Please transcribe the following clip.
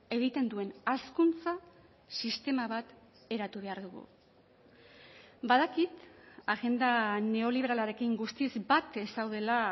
egiten duen hazkuntza sistema bat eratu behar dugu badakit agenda neoliberalarekin guztiz bat ez zaudela